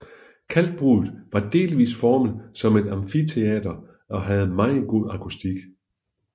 Kalkbruddet var delvist formet som et amfiteater og havde meget god akustik